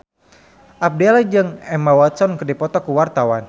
Abdel jeung Emma Watson keur dipoto ku wartawan